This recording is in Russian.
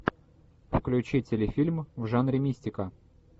включи телефильм в жанре мистика